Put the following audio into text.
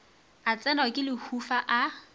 a tsenwa ke lehufa a